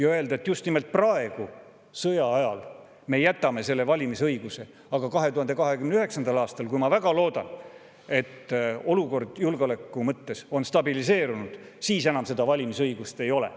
Aga just nimelt praegu, sõja ajal, me jätame neile inimestele selle valimisõiguse, aga 2029. aastal – ma väga loodan, et siis on olukord julgeoleku mõttes stabiliseerunud –, neil enam seda valimisõigust ei ole.